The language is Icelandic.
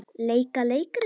Leika leikrit